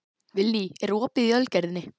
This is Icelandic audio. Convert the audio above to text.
Vilný, er opið í Ölgerðinni?